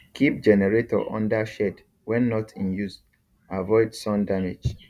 keep generator under shed when not in use avoid sun damage